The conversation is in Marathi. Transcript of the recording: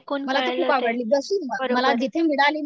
मला ती खूप आवडली बसून मला जिथे मिळाली ना